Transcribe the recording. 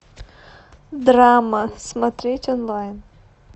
драма смотреть онлайн